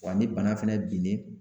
Wa ni bana fɛnɛ binnen